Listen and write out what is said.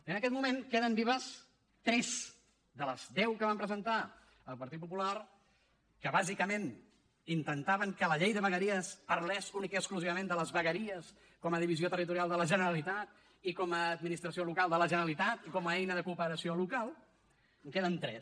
i en aquest moment en queden vives tres de les deu que vam presentar el partit popular que bàsicament intentaven que la llei de vegueries parlés únicament i exclusivament de les vegueries com a divisió territorial de la generalitat i com a administració local de la generalitat i com a eina de cooperació local en queden tres